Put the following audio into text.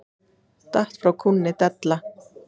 Datt frá kúnni della.